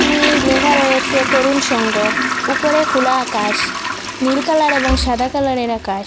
নি লেখা রয়েছে তরুণ সংঘ উপরে খোলা আকাশ নীল কালার এবং সাদা কালারের আকাশ।